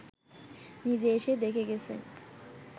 নিজে এসে দেখে গেছে